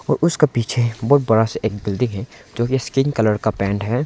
उसके पीछे एक बहुत बड़ा सा बिल्डिंग है जो की स्किन कलर का पेंट है।